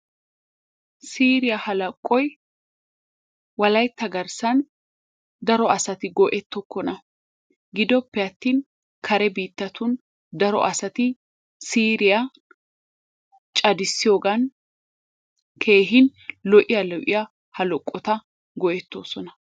siiriya hallaqqoy wolaytta garsan daro asati go''ettokona giddoppe atin kare biittatun daro asati siiriyaa caddissiyoogan keehin lo''iyaa lo''iyaa hallaqota go'ettoosona.